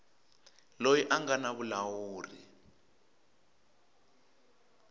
loyi a nga na vulawuri